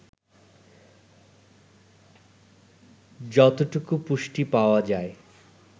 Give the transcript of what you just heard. যতটুকু পুষ্টি পাওয়া যায়